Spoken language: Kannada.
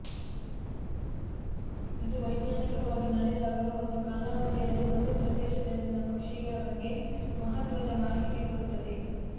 ಇದು ವೈಜ್ಞಾನಿಕವಾಗಿ ನಡೆದಾಗ ಒಂದು ಕಾಲಾವಧಿಯಲ್ಲಿ ಒಂದು ಪ್ರದೇಶದಲ್ಲಿನ ಪಕ್ಷಿಗಳ ಬಗ್ಗೆ ಮಹತ್ವದ ಮಾಹಿತಿ ಕೊಡುತ್ತದೆ